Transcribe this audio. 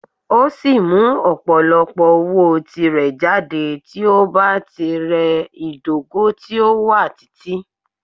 O si mu opolopo owo ti rẹ jade ti o ba ti rẹ idogo ti o wa titi.